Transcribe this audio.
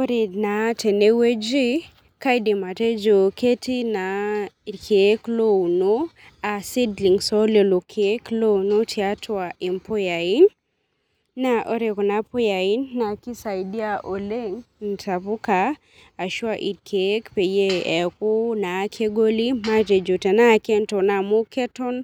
Ore naa tenewueji kaidik atejo ketii naa irkiek louno a seedlings ololokiek louno tiatua mpuyai, ore kuna puyai na kisaidia oleng ntapuka ashu a irkiek metaa kegoli ashuketon